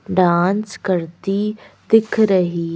dance करती दिख रही--